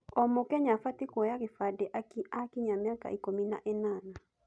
O mũkenya abatiĩ kũoya gĩbandĩ akinyia mĩaka ikũmi na ĩnana.